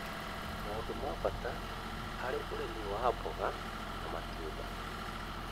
Maũndũ ma bata harĩ ũrĩmi wa mboga na matunda: